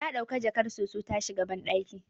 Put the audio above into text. Ta dauki jakar soso ta shiga bandaki